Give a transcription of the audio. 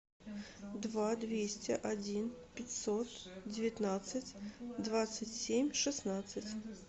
два двести один пятьсот девятнадцать двадцать семь шестнадцать